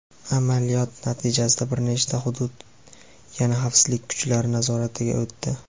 Amaliyot natijasida bir nechta hudud yana xavfsizlik kuchlari nazoratiga o‘tdi.